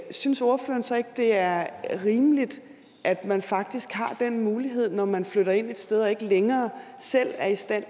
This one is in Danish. synes ordføreren så ikke det er rimeligt at man faktisk har den mulighed når man flytter ind et sted og ikke længere selv er i stand